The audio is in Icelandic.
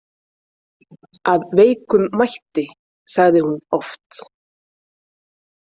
Af veikum mætti, sagði hún oft.